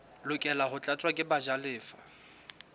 lokela ho tlatswa ke bajalefa